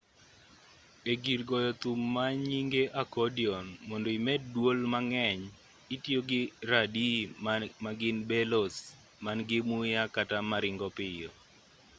e-gir goyo thum manynge accordion mondo imed duol mang'eny itiyogi radii magin bellows man-gi muya kata maringo piyo